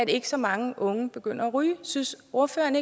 ikke så mange unge begynder at ryge synes ordføreren